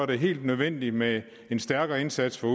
det helt nødvendigt med en stærkere indsats for